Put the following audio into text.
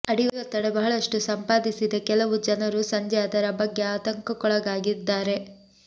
ಅಡಿ ಒತ್ತಡ ಬಹಳಷ್ಟು ಸಂಪಾದಿಸಿದೆ ಕೆಲವು ಜನರು ಸಂಜೆ ಅದರ ಬಗ್ಗೆ ಆತಂಕಕ್ಕೊಳಗಾಗಿದ್ದಾರೆ